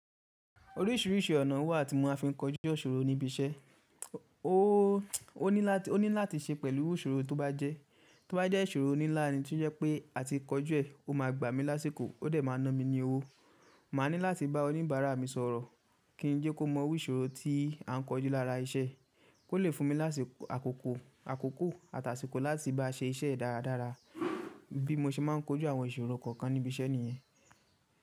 Orísìírísìí ọ̀nà wà tí mo má fi ń kọjú isoro ní ibi iṣẹ́. O ní láti ṣe pẹ̀lú ìṣòro tó bá jẹ́. To ba je ìṣòro nínlá ni tí ó jẹ́ pé a ti kọjú ẹ̀, ó máa gbà mí lásìkò, ó dẹ̀ máa ná mi ní owó. Màá ní láti bá oníbàárà mi sọ̀rọ̀ kí n jẹ́ kó mọ iru ìṣòro tí à ń kọjú lára iṣẹ́, kó lè fún mi lásiko, àkókò àti àsíkò láti bá ṣe iṣẹ́ e dáradára. Bi mo ṣe máa ń kojú àwọn ìṣòro kọ̀ọ̀kan níbi iṣẹ́ nìyẹn.